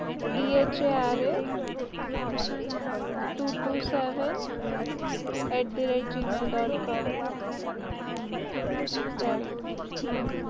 Dhr two two sevn dot com